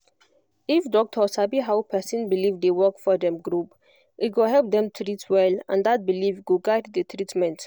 if doctor sabi how person belief dey work for dem group e go help dem treat well and that belief go guide the treatment